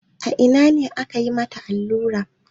A ina ne aka yi mata allun?